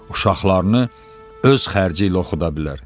Uşaqlarını öz xərci ilə oxuda bilər.